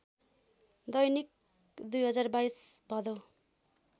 दैनिक २०२२ भदौ